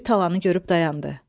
Böyük talanı görüb dayandı.